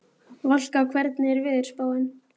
Valka, hvernig er veðurspáin?